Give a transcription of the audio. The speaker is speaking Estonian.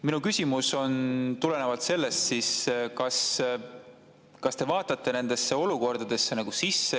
Minu küsimus tuleneb sellest: kas te vaatate nendesse olukordadesse sisse?